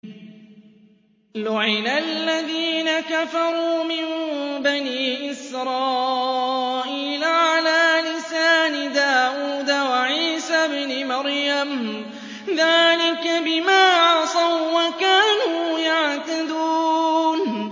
لُعِنَ الَّذِينَ كَفَرُوا مِن بَنِي إِسْرَائِيلَ عَلَىٰ لِسَانِ دَاوُودَ وَعِيسَى ابْنِ مَرْيَمَ ۚ ذَٰلِكَ بِمَا عَصَوا وَّكَانُوا يَعْتَدُونَ